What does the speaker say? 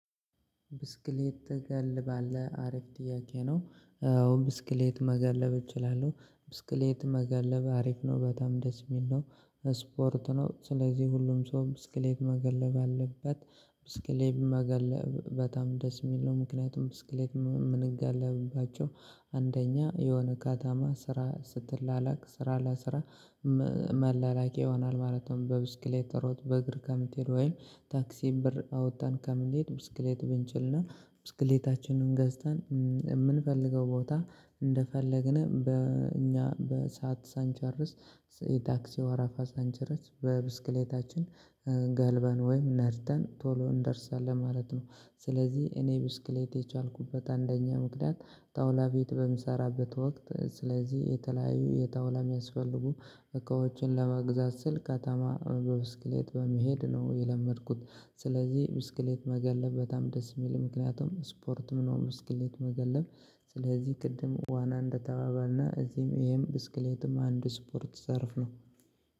ብስክሌት ትገልባለህ አሪፍ ጥያቄ ነው አዎ ብስክሌት መገለብ እችላለሁ ብስክሌት መገለብ አሪፍ ነው በጣም ደስ የሚል ነው። ስፖርት ነው ስለዚህ ሁሉም ሰው ብስክሌት መገለብ አለበት። ብስክሌት መገለብ በጣም ደስ የሚል ነው ምክንያቱም ብስክሌት ምንገልባቸው አንደኛ የሆነ ከተማ ስራ ስትላላክ ስራ ለስራ። መላላቂ ይሆናል ማለት ነው በብስክሌት ሮጠነ በእግር ከምትሄድ ወይም ታክሲም ብር አውጥተን ከምትሄድ ብስክሌት ብንችልና ብስክሌታችንን ገዝተን የምንፈልገው ቦታ እንደፈለግን በእኛ በሰአት ሳንቸርስ የታክሲ ወራፋ ሳንቸረስ በብስክሌታችን። ስፖርት ነው ስለዚህ ሁሉም ሰው ብስክሌት መገለብ አለበት ብስክሌት መገለብ በጣም ደስ የሚል ነው። ምክንያቱም ብስክሌት ምንገልባቸው አንደኛ የሆነ ከተማ ስራ ስትላላክ ስራ ለስራ መላላቂ ይሆናል። ማለት ነው በብስክሌት ተሮት በእግር ከምትሄድ ወይም ታክሲም ብር አውጥተን ከምትሄድ ብስክሌት ብንችልና ብስክሌታችንን ገዝተን የምንፈልገው ቦታ እንደፈለግን በእኛ በሰአት ሳንቸርስ የታክሲ ወራፋ ሳንቸረስ በብስክሌታችን